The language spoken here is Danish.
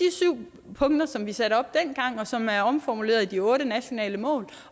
syv punkter som vi satte op dengang og som er omformuleret i de otte nationale mål